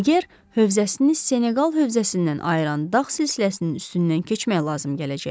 Niger hövzəsini Seneqal hövzəsindən ayıran dağ silsiləsinin üstündən keçmək lazım gələcəkdi.